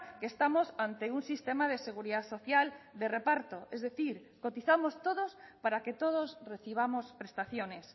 que estamos ante un sistema de seguridad social de reparto es decir cotizamos todos para que todos recibamos prestaciones